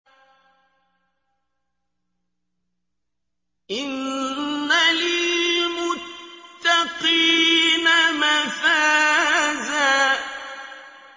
إِنَّ لِلْمُتَّقِينَ مَفَازًا